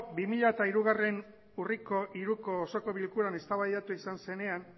bi mila hiru urriko hiruko osoko bilkuran eztabaidatu izan zenean